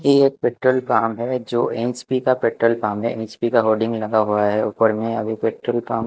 ये एक petrol pump है जो एच_पी का पेट्रोल पाम है एच_पी का होल्डिंग लगा हुआ है ऊपर में अभी पेट्रोल पाम --